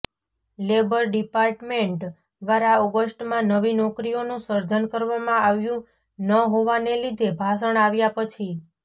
labour department દ્વારા ઓગસ્ટમાં નવી નોકરીઓનું સર્જન કરવામાં આવ્યું ન હોવાને લીધે ભાષણ આવ્યા પછી